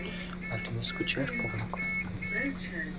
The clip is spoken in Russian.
а ты не скучаешь по внукам